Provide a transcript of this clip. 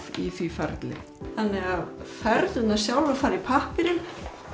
í því ferli þannig að fernurnar sjálfar fara í pappírinn